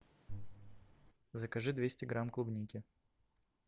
закажи двести грамм клубники